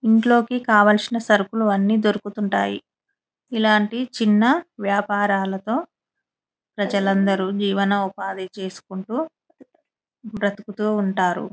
ఇంటిలోకి కావాలసిన సరుకులు అన్ని దొరుకుతుంటాయ్ ఇంలాటి చిన్న వ్యాపారాలతో ప్రజలు అందరు జీవనఉపాధి చేసుకుంటు బ్రతుకుతుంటారు.